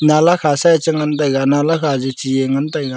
nalla kha sae chengan nalla kha jeche e ngan taiga.